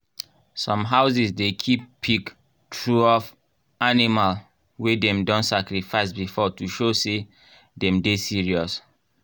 some houses dey keep pic tureof animal wey dem don sacrifice before to show say dem dey serious.